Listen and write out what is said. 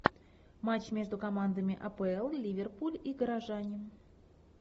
матч между командами апл ливерпуль и горожане